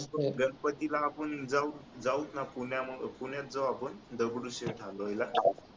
गणपतीला आपण जाऊच ना जाऊ आपण पुण्यात जाऊ आपण दगडूशेठ हलवाई ला